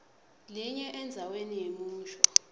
linye endzaweni yemusho